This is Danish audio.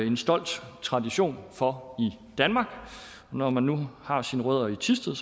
en stolt tradition for i danmark og når man nu har sine rødder i thisted